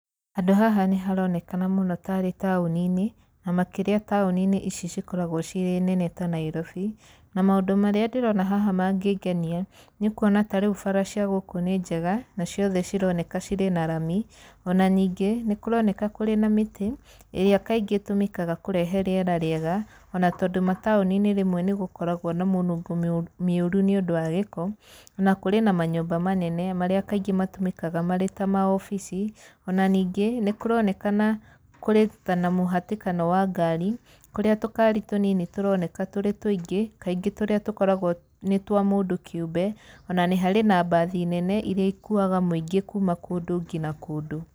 Handũ haha nĩ haronekana mũno tarĩ taũni-inĩ, na makĩria taũni-inĩ ici cikoragwo cirĩ nene ta Nairobi, na maũndũ marĩa ndĩrona haha mangĩngenia nĩ kuona ta rĩu bara cia gũkũ nĩ njega, na ciothe cironeka cirĩ na rami, ona ningĩ, nĩ kũroneka kũrĩ na mĩtĩ ĩrĩa kaingĩ ĩtũmĩkaga kũrehe rĩera rĩega, ona tondũ mataũni-inĩ rĩmwe nĩ gũkoragwo na mũnungo mĩũru nĩ ũndũ wa gĩko. Na kũrĩ na manyũmba manene marĩa kaingĩ matũmĩkaga marĩ ta maobici. Ona ningĩ nĩ kũronekana kũrĩ ta mũhatĩkanoa wa ngari, kũrĩa tũkari tũnini tũroneka tũrĩ tũingĩ, kaingĩ tũrĩa tũkoragwo nĩ twa mũndũ kĩũmbe. Ona nĩ harĩ na mbathi nene irĩa ikuaga mũingĩ kuuma kũndũ ngina kũndũ.